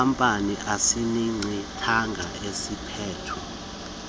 wenkampani enesiqingatha esiphethwe